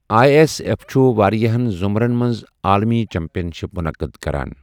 I S F چھُ وارِیٛاہَن ضُمرَن منٛز عٲلمی چیمپئن شِپ منعقد کران ۔